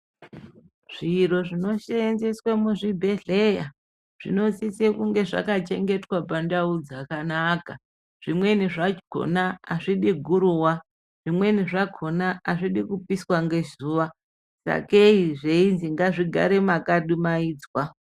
Zviro zvino senzeswe mu zvibhedhleya zvino sise kunge zvaka chengetwa pandau dzakanaka zvimweni zvakona azvidi guruwa zvimweni zvakona azvidi kupiswa nge zuva sake zveizi ngazvi gare maka dumaidzwa.